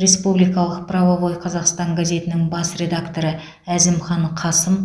республикалық правовой казахстан газетінің бас редакторы әзімхан қасым